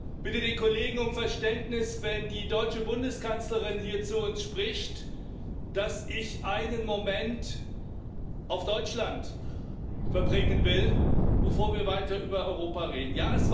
Ich bitte die Kollegen um Verständnis, wenn die deutsche Bundeskanzlerin hier zu uns spricht, dass ich einen Moment auf Deutschland eingehen will, bevor wir weiter über Europa reden.